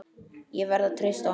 Ég verð að treysta honum.